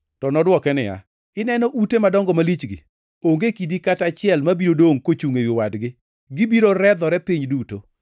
To nodwoke niya, “Ineno ute madongo malichgi? Onge kidi kata achiel mabiro dongʼ kochungʼ ewi wadgi; gibiro redhore piny duto.”